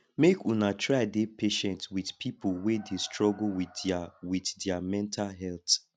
make una try dey patient wit pipo wey dey struggle wit their wit their mental health